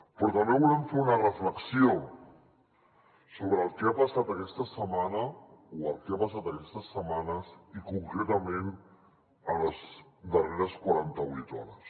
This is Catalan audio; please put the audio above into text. però també volem fer una reflexió sobre el que ha passat aquesta setmana o el que ha passat aquestes setmanes i concretament les darreres quaranta vuit hores